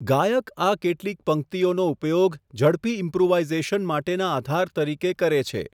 ગાયક આ કેટલીક પંક્તિઓનો ઉપયોગ ઝડપી ઇમ્પ્રૂવાઇઝેશન માટેના આધાર તરીકે કરે છે.